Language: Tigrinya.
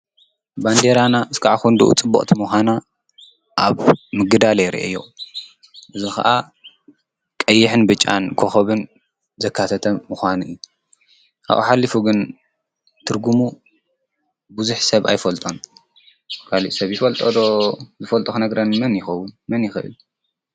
ባንዴራና ክስብ ክንድኡ ፅብቅቲ ምኳና ኣብ ምግዳል እየ ሪአዮ። እዚ ከዓ ቀይሕን ብጫን ከኮብን ዘካተተ እዩ ። ካብኡ ሓሊፉ ግን ትርጉሙ ብዙሕ ሰብ ኣይፈልጦን ።ካሊእ ሰብ ይፈልጦ ዶ? ዝፈልጦ ክነግረኒ መን ይከውን መን ይክእል ?